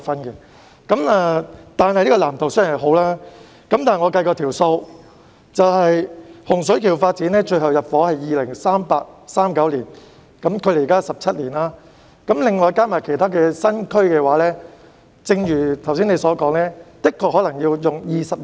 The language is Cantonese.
然而，這個藍圖雖好，但我計算過，洪水橋發展的最後入伙時間是2038年或2039年，距今約17年，其他新區發展則如你剛才所說，可能需時20年。